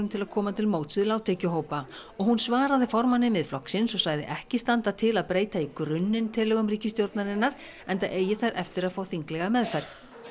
til að koma til móts við lágtekjuhópa og hún svaraði formanni Miðflokksins og sagði ekki standa til að breyta í grunninn tillögum ríkisstjórnarinnar enda eigi þær eftir að fá þinglega meðferð